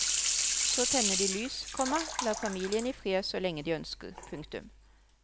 Så tenner de lys, komma lar familien i fred så lenge de ønsker. punktum